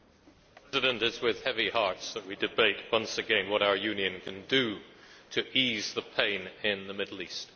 Mr President, it is with heavy hearts that we debate once again what our Union can do to ease the pain in the Middle East.